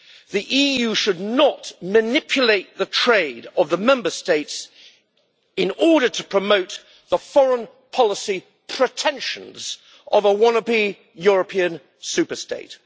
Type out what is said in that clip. The EU should not manipulate the trade of the Member States in order to promote the foreign policy pretensions of a wannabe European superstate.